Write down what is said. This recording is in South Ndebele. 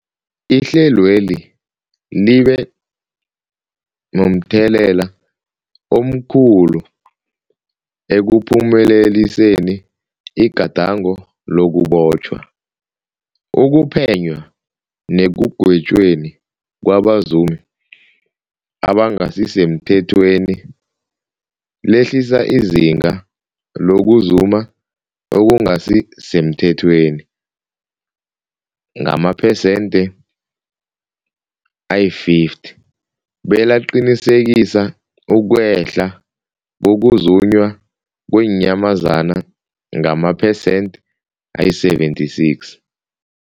Ihlelweli libe momthelela omkhulu ekuphumeleliseni igadango lokubotjhwa, ukuphenywa nekugwetjweni kwabazumi abangasisemthethweni, lehlisa izinga lokuzuma okungasi semthethweni ngamaphesenthe-50, belaqinisekisa ukwehla kokuzunywa kweenyamazana ngamaphesenthe-76.